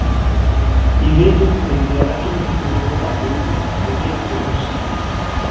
Í vitund minni er ekki mikill munur á hugmynd og ytri reynslu.